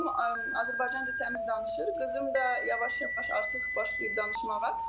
Oğlum Azərbaycan dilində təmiz danışır, qızım da yavaş-yavaş artıq başlayır danışmağa.